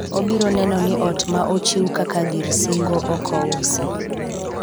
obiro neno ni ot ma ochiw kaka gir singo ok ousi